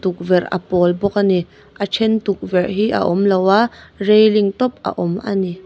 tukverh a pawl bawk a ni a ṭhen tukverh hi a awmloa reiling tawp a awm a ni.